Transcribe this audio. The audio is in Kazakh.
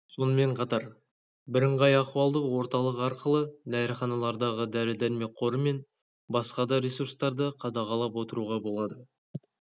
сонымен қатар бірыңғай ахуалдық орталық арқылы дәріханалардағы дәрі-дәрмек қоры мен басқа да ресурстарды қадағалап отыруға болады